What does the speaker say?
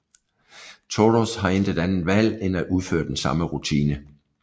Toros har intet andet valg end at udføre den samme rutine